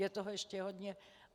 Je toho ještě hodně.